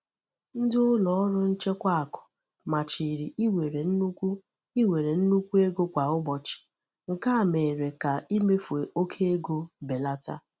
Ndị ụlọ ọrụ nchekwa akụ machiri iwere nnukwu iwere nnukwu ego kwa ụbọchị, nke a mere ka imefu oke ego belata